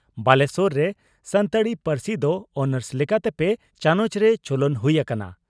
ᱵᱟᱞᱮᱥᱚᱨ ᱨᱮ ᱥᱟᱱᱛᱟᱲᱤ ᱯᱟᱹᱨᱥᱤ ᱫᱚ ᱚᱱᱟᱨᱥ ᱞᱮᱠᱟᱛᱮ ᱯᱮ ᱪᱟᱱᱚᱪ ᱨᱮ ᱪᱚᱞᱚᱱ ᱦᱩᱭ ᱟᱠᱟᱱᱟ ᱾